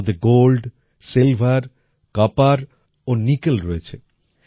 তার মধ্যে gold silver copper ও নিকেল রয়েছে